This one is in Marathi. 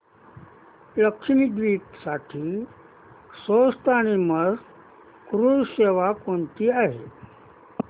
लक्षद्वीप साठी स्वस्त आणि मस्त क्रुझ सेवा कोणती आहे